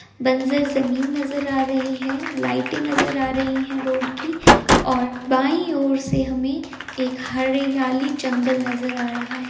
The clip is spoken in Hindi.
बंजर जमीन नजर आ रही है लाइटे नजर आ रही है रोड की और बाईं और से हमें एक हरियाली जंगल नजर आ रहा है।